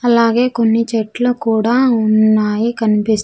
అలాగే కొన్ని చెట్లు కూడా ఉన్నాయి కనిపిస్--